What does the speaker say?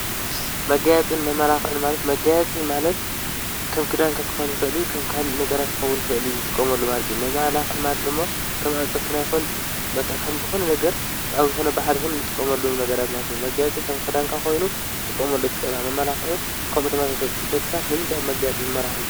መጋያጽን መማላኽዑን ማለት መጋያፂ ማለት ከም ክዳንካ ክኾን ይኽእልዩ ከም ካህልእ ነገራት ኮዉን ኽእልዩ ዝትቆመሉ ማለት እ መማላኽዕ ማለት ድሞ ከም ኣፅፍርናይኹን በቓ ኸምዝኾነ ነገር ኣብ ዝኾነ በዓድ ኹን ንትቆመሉነገራትማልት መጋያጺ ከም ክዳንካ ኾይኑ ዝጥቆምሉ እትኽእልሃ መማላኽዑን ከምኡ ተማሰሰ ደግሳት ንምንትይብ መጋያጽ መመልኹ።